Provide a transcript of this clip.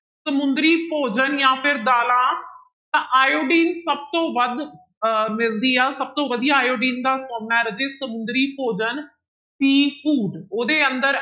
ਸਮੁੰਦਰੀ ਭੋਜਨ ਜਾਂ ਫਿਰ ਦਾਲਾਂ, ਤਾਂ ਆਇਓਡੀਨ ਸਭ ਤੋਂ ਵੱਧ ਅਹ ਮਿਲਦੀ ਆ ਸਭ ਤੋਂ ਵਧੀਆ ਆਇਓਡੀਨ ਦਾ ਸੋਮਾ ਹੈ ਰਾਜੇ ਸਮੁੰਦਰੀ ਭੋਜਨ seafood ਉਹਦੇ ਅੰਦਰ